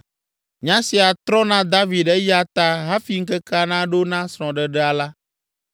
Nya sia trɔ na David eya ta hafi ŋkekea naɖo na srɔ̃ɖeɖea la,